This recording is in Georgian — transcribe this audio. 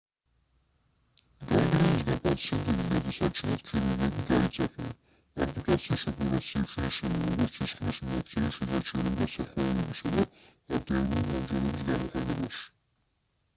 განგრენისგან პაციენტების გადასარჩენად ქირურგები გაიწაფნენ ამპუტაციის ოპერაციებში ისევე როგორც სისხლის მიმოქცევის შესაჩერებლად სახვევებისა და არტერიული მომჭერების გამოყენებაში